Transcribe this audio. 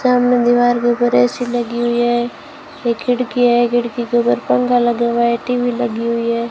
सामने दीवार के ऊपर ए_सी लगी हुई है एक खिड़की है खिड़की के ऊपर पंखा लगा हुआ है टी_वी लगी हुई है।